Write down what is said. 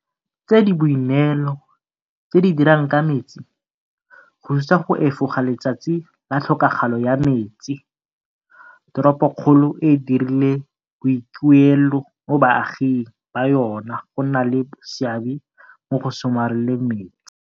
tse di boineelo tse di dirang ka metsi, go thusa go efoga Letsatsi la Tlhokagalo ya Metsi, toropokgolo e dirile boikuelo mo baaging ba yona go nna le seabe mo go somareleng metsi.